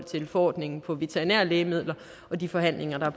til forordningen for veterinære lægemidler og de forhandlinger der